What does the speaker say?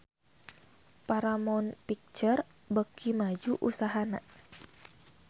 Paramount Picture beuki maju usahana